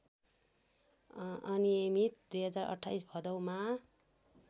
अनियमित २०२८ भदौमा